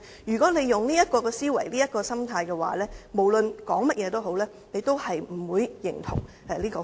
如果他抱持這種思維和心態，無論我們說甚麼，他也不會認同《條例草案》。